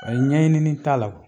Ay ɲɛɲinini t'a la.